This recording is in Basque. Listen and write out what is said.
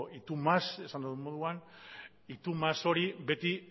y tú más esan dudan moduan y tú más hori beti